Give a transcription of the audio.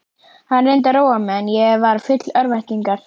Hann reyndi að róa mig en ég var full örvæntingar.